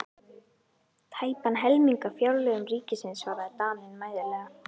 Tæpan helming af fjárlögum ríkisins, svaraði Daninn mæðulega.